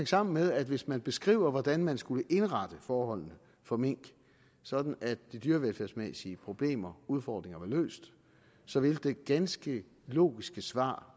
sammen med at hvis man beskriver hvordan man skulle indrette forholdene for mink sådan at de dyrevelfærdsmæssige problemer og udfordringer var løst så ville det ganske logiske svar